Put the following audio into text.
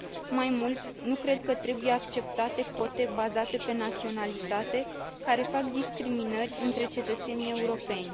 Mai mult, nu cred că trebuie acceptate cote bazate pe naționalitate care fac discriminări între cetățenii europeni.